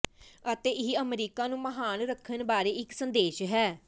ਅਤੇ ਇਹ ਅਮਰੀਕਾ ਨੂੰ ਮਹਾਨ ਰੱਖਣ ਬਾਰੇ ਇੱਕ ਸੰਦੇਸ਼ ਹੈ